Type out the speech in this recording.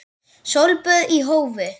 Sólböð í hófi.